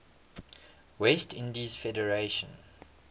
west indies federation